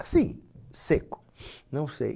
Assim, seco, não sei.